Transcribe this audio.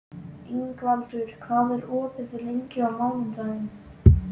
Ingvaldur, hvað er opið lengi á mánudaginn?